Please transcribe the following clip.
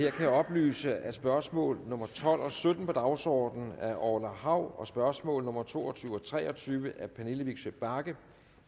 jeg kan oplyse at spørgsmål nummer tolv og sytten på dagsordenen af orla hav og spørgsmål nummer to og tyve og tre og tyve af pernille vigsø bagge